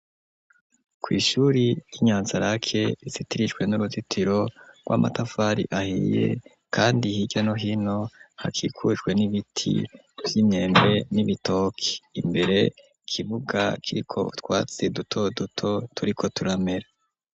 ku ishuri yi Nyanzarake izitirijwe n'uruzitiro rw'amatafari ahiye kandi hirya no hino hakikujwe n'ibiti vy'inyembe n'ibitoki imbere ikibuga kiriko utwatse duto duto turiko turamera.